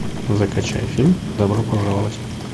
закачай фильм добро пожаловать